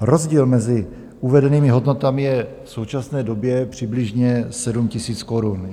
Rozdíl mezi uvedenými hodnotami je v současné době přibližně 7 000 korun.